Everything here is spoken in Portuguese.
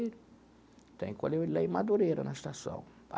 Trem colheu ele lá em Madureira, na estação.